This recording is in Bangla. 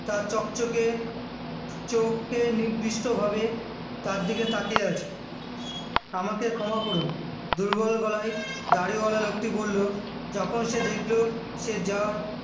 তার ঝকঝকে চোখে নির্দিষ্ট ভাবে তার দিকে তাকিয়ে আছে আমাকে ক্ষমা করুন দুর্বল গলায় দাড়িওয়ালা লোকটি বলল যখন সে দেখলো সে জার